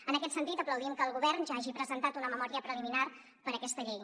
en aquest sentit aplaudim que el govern ja hagi presentat una memòria preliminar per a aquesta llei